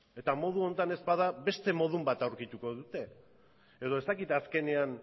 eta modu honetan ez bada beste modu bat aurkituko dute edo ez dakit azkenean